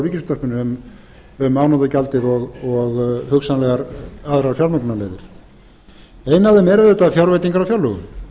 hjá ríkisútvarpinu um afnotagjaldið og hugsanlegar aðrar fjármögnunarleiðir ein af þeim er auðvitað fjárveitingar á fjárlögum